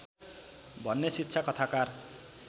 भन्ने शिक्षा कथाकार